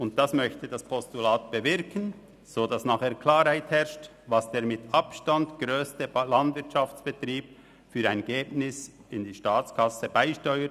Dies möchte das Postulat bewirken, um Klarheit darüber zu erhalten, welchen Ertrag der mit Abstand grösste Landwirtschaftsbetrieb für die Staatskasse beisteuert.